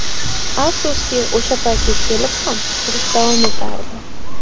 Afsuski, o‘sha paytga kelib ham, urush davom etardi.